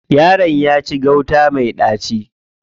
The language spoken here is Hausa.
Yaron ya ci gauta me ɗaci.